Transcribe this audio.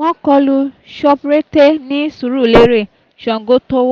wọ́n kọlu shoprete ní sùúrùlérè sangotów